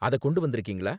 அத கொண்டு வந்திருக்கீங்களா?